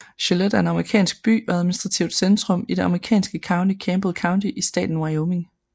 Gillette er en amerikansk by og administrativt centrum i det amerikanske county Campbell County i staten Wyoming